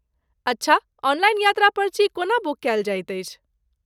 अच्छा! ऑनलाइन यात्रा पर्ची कोना बुक कयल जाइत अछि?